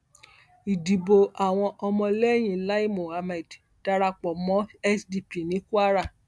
ìdìbò àwọn ọmọlẹyìn lai mohammed darapọ mọ sdp ní kwara